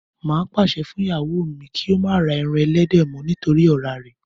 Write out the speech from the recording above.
Má á pàṣẹ fún ìyàwó mi kí ó má ra ẹran ẹlẹ́dẹ̀ mọ́ nítorí ọ̀rá rẹ̀